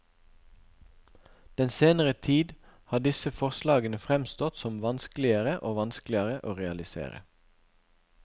Den senere tid har disse forslagene fremstått som vanskeligere og vanskeligere å realisere.